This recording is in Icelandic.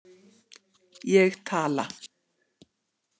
Ég tala.